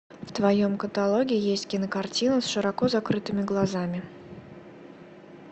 в твоем каталоге есть кинокартина с широко закрытыми глазами